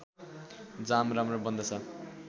जाम राम्रो बन्दछ